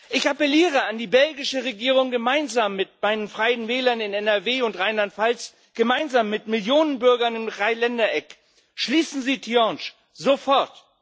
Ich appeliere an die belgische Regierung, gemeinsam mit meinen Freien Wählern in NRW und Rheinland Pfalz, gemeinsam mit Millionen Bürgern im Dreiländereck Schließen Sie Tihange, sofort!